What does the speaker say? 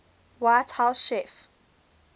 white house chief